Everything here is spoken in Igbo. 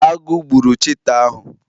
Agụ gburu cheeta ahu